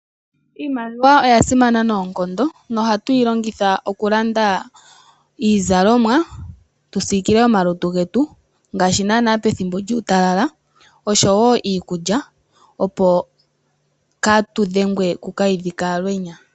Iimaliwa oyasimana noonkondo na ohatu yilongitha okulanda iizalomwa tusiikile omalutu getu, ngaashi naana pethimbo lyuutalala, osho wo iikulya opo katudhengwe kokalwidhi kalwenya.